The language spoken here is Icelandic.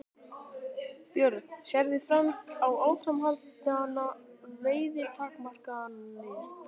Björn: Sérðu fram á áframhaldandi veiðitakmarkanir?